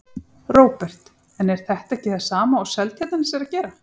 Róbert: En er þetta ekki sama og Seltjarnarnes er að gera?